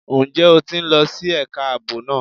Ǹjẹ́ o ti ń lọ sí ẹ̀ka ààbò náà?